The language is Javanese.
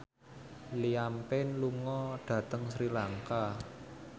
Liam Payne lunga dhateng Sri Lanka